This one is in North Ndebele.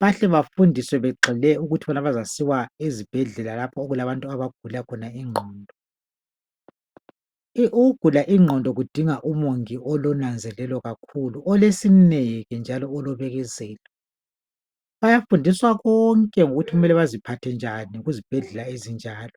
bahle bafundiswe begxile ukuthi bazasiwa ezibhedlela lapho okulabantu abagula khona ingqondo. Ukugula ingqondo kudinga umongi olonanzelelo kakhulu njalo olesineke njalo olobekezelo bayafundiswa konke ukuthi kumele baziphathe njani kuzibhedlela ezinjalo.